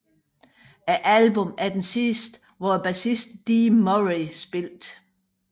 Albummet er det sidste hvor bassisten Dee Murray spillede